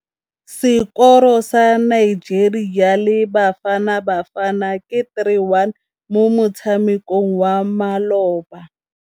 Sekôrô sa Nigeria le Bafanabafana ke 3-1 mo motshamekong wa malôba.